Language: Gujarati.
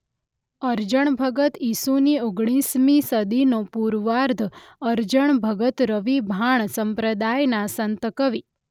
અરજણ ભગત ઇસુની ઓગણીસમી સદીનો પૂર્વાર્ધ અરજણ ભગત રવિ ભાણ સંપ્રદાયના સંતકવિ.